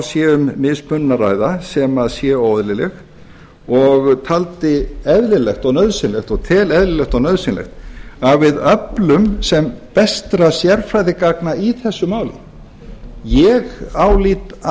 sé um mismunun að ræða sem sé óeðlileg og taldi eðlilegt og nauðsynlegt og tel eðlilegt og nauðsynlegt að við öflum sem bestra sérfræðigagna í þessu máli ég álít að